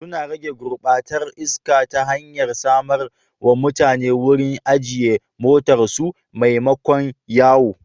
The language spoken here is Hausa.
Suna rage gurbatar iska ta hanyar samar wa mutane wurin ajiye motarsu maimakon yawo.